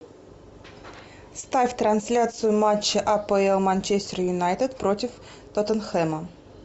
ставь трансляцию матча апл манчестер юнайтед против тоттенхэма